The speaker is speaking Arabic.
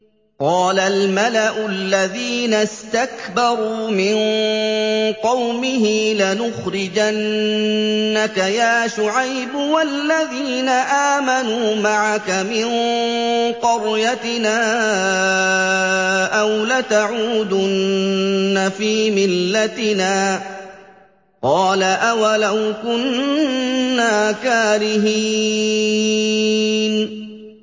۞ قَالَ الْمَلَأُ الَّذِينَ اسْتَكْبَرُوا مِن قَوْمِهِ لَنُخْرِجَنَّكَ يَا شُعَيْبُ وَالَّذِينَ آمَنُوا مَعَكَ مِن قَرْيَتِنَا أَوْ لَتَعُودُنَّ فِي مِلَّتِنَا ۚ قَالَ أَوَلَوْ كُنَّا كَارِهِينَ